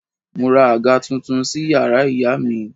Mo ra àga tuntun sí yàrá ìyá mi